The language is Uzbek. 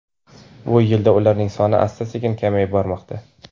Bu yilda ularning soni asta-sekin kamayib bormoqda.